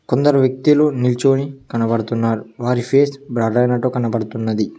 కొందరు వ్యక్తీలు నిల్చోని కనబడుతున్నారు వారి ఫేస్ బ్లర్ ఐనట్టు కనపడుతున్నది